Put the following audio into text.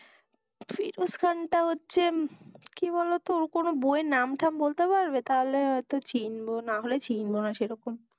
ফেরশ খান টা হচ্ছে হম কি বলতো ওর কোনো বই এর নামথাম বলতে পারবে, তাহলে হয় চিনবো, নাহলে চিনবো না সেই রকম,